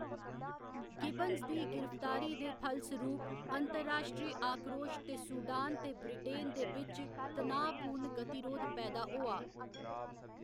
Gibbons दी गिरफ्तारी दे फलसरूप अंतर्राश्ट्रीय आक्रोश ते सूडान ते ब्रिटेन दे बिच्च तनाऽ पूर्ण गतिरोध पैदा होआ।